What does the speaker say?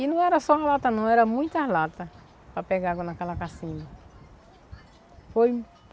E não era só uma lata, não, era muitas latas para pegar água naquela. Foi